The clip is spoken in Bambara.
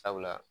Sabula